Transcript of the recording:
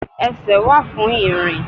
Esè wa fún irín